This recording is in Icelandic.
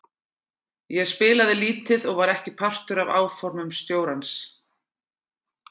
Ég spilaði lítið og var ekki partur af áformum stjórans.